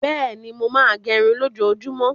Bẹ́ẹ̀ni, mo máa ń gẹrun lójoojúmọ́.